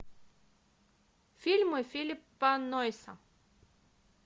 фильмы филлипа нойса